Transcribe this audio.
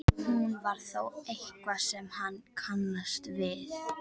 Hún var þó eitthvað sem hann kannaðist við.